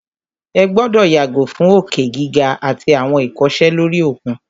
Ẹ gbọ́dọ̀ yàgò fún òkè gíga àtí àwọn ìkọsẹ̀ lóri òkun!